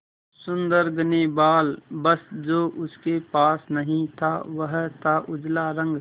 सुंदर घने बाल बस जो उसके पास नहीं था वह था उजला रंग